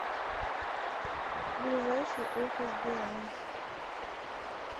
ближайший офис билайн